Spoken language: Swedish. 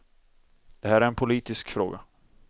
Det här är en politisk fråga.